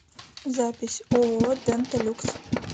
запись ооо дента люкс